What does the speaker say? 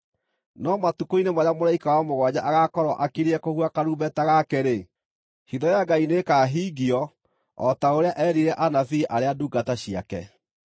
No matukũ-inĩ marĩa mũraika wa mũgwanja agaakorwo akiriĩ kũhuha karumbeta gake-rĩ, hitho ya Ngai nĩĩkahingio, o ta ũrĩa eerire anabii arĩa ndungata ciake.